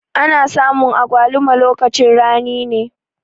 Ana samun agwaluma lokacin rani ne.